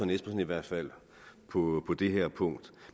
i hvert fald på det her punkt